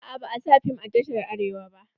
Aa ba a sa fim a tashar Arewa ba.